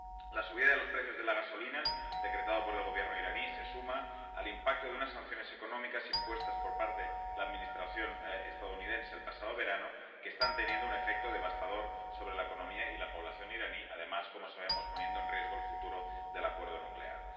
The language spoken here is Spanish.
La subida de los precios de la gasolina, decretada por el Gobierno iraní, se suma al impacto de unas sanciones económicas impuestas por parte de la Administración estadounidense el pasado verano, que están teniendo un efecto devastador sobre la economía y la población iraní, y además, como sabemos, están poniendo en riesgo el futuro del acuerdo nuclear.